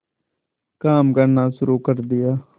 काम करना शुरू कर दिया